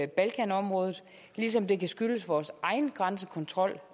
balkanområdet ligesom det kan skyldes vores egen grænsekontrol